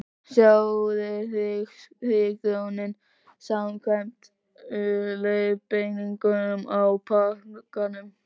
Sjóðið hrísgrjónin samkvæmt leiðbeiningum á pakkanum.